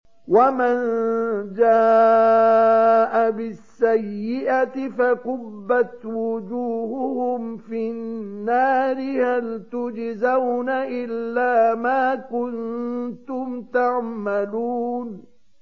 وَمَن جَاءَ بِالسَّيِّئَةِ فَكُبَّتْ وُجُوهُهُمْ فِي النَّارِ هَلْ تُجْزَوْنَ إِلَّا مَا كُنتُمْ تَعْمَلُونَ